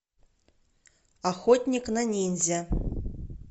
охотник на ниндзя